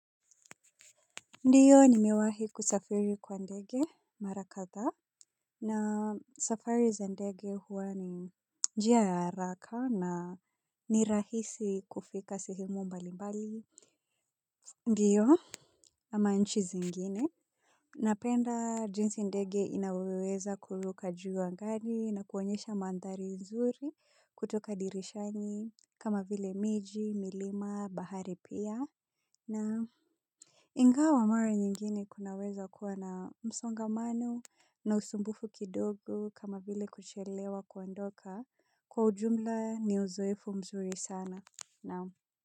Ndiyo nimewahi kusafiri kwa ndege mara kadha na safari za ndege huwa ni njia ya araka na ni rahisi kufika sehemu mbalimbali. Ndiyo ama nchi zingine. Napenda jinsi ndege inavyoweza kuruka juu angani na kuonyesha mandhari nzuri kutoka dirishani kama vile miji, milima, bahari pia na ingawa mara nyingine kunaweza kuwa na msongamano na usumbufu kidogo kama vile kuchelewa kuondoka kwa ujumla ni uzoefu mzuri sana.